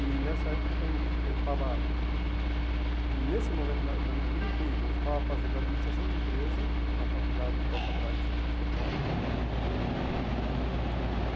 E nessa época eu estava fazendo eu estava, nesse momento da da minha vida incrível, eu estava fazendo administração de empresa na faculdade de Costa Braga, em São em São Paulo né.